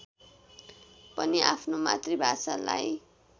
पनि आफ्नो मातृभाषालाई